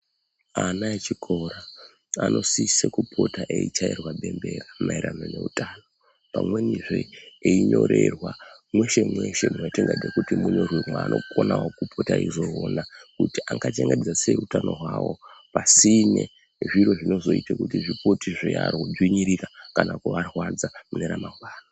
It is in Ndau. Ana echikora anosisa kupota eichairwa bembera maererano neutano, pamwenizve einyorerwa mweshe mweshe mwatingade kuti munyorwe mwaanokonawo kupota eizoona kuti angachengetedze sei utano hwawo pasine zviro zvinozoite kuti zvikuti zveiarodzvinyirira kana kuvarwadza mune ramangwana.